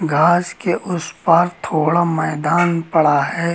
घास के उस पार थोड़ा मैदान पड़ा है।